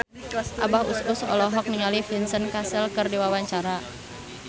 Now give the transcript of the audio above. Abah Us Us olohok ningali Vincent Cassel keur diwawancara